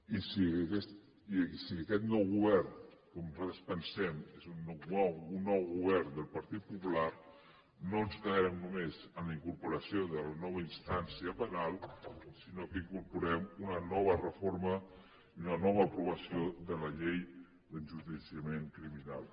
i si aquest nou govern com nosaltres pensem és un nou govern del partit popular no ens quedarem només amb la incorporació de la nova instància penal sinó que incorporarem una nova reforma i una nova aprovació de la llei d’enjudiciament criminal